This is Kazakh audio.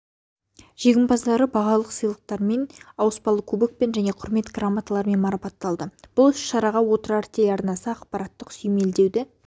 жеңімпаздары бағалық сыйлықтармен ауыспалы кубокпен және құрмет грамоталарымен марапатталды бұл іс-шараға отырар телеарнасы ақпараттық сүйемелдеуді